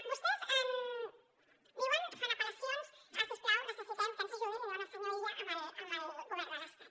vostès diuen fan apel·lacions a si us plau necessitem que ens ajudin li diuen al senyor illa amb el govern de l’estat